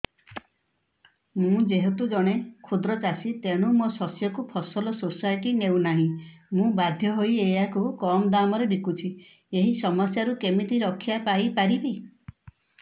ମୁଁ ଯେହେତୁ ଜଣେ କ୍ଷୁଦ୍ର ଚାଷୀ ତେଣୁ ମୋ ଶସ୍ୟକୁ ଫସଲ ସୋସାଇଟି ନେଉ ନାହିଁ ମୁ ବାଧ୍ୟ ହୋଇ ଏହାକୁ କମ୍ ଦାମ୍ ରେ ବିକୁଛି ଏହି ସମସ୍ୟାରୁ କେମିତି ରକ୍ଷାପାଇ ପାରିବି